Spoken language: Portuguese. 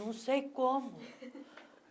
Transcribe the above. Não sei como.